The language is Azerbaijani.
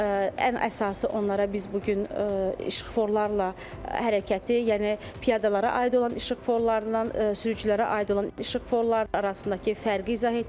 Ən əsası onlara biz bu gün işıqforlarla hərəkəti, yəni piyadalara aid olan işıqforlarla sürücülərə aid olan işıqforlar arasındakı fərqi izah etdik.